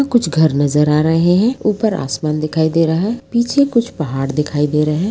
कुछ घर नज़र आ रहें हैं। ऊपर आसमान दिखाई दे रहा है। पीछे कुछ पहाड़ दिखाई दे रहें हैं।